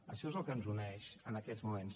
això és el que ens uneix en aquests moments